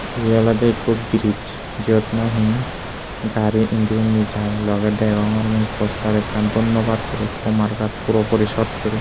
ye olode ekko bridge jot nahe gari endi undi jai loge degogror mui poster akkan donnobat gori ikko markat puro porisodh gori.